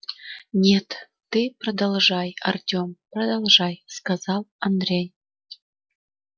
нет ты продолжай артём продолжай сказал андрей